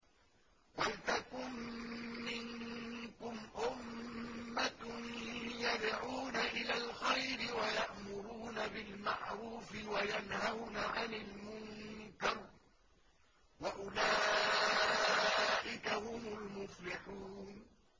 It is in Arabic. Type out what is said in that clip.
وَلْتَكُن مِّنكُمْ أُمَّةٌ يَدْعُونَ إِلَى الْخَيْرِ وَيَأْمُرُونَ بِالْمَعْرُوفِ وَيَنْهَوْنَ عَنِ الْمُنكَرِ ۚ وَأُولَٰئِكَ هُمُ الْمُفْلِحُونَ